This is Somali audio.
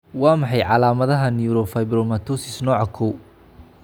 Waa maxay calaamadaha iyo calaamadaha Neurofibromatosis nooca kow?